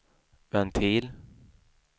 ventil